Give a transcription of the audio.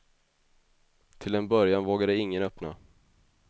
Till en början vågade ingen öppna.